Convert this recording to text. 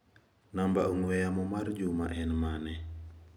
Namba ong'ue yamo mar Juma en mane?